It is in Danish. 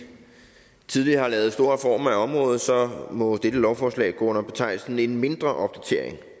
tidligere har lavet store reformer af området må dette lovforslag gå under betegnelsen en mindre opdatering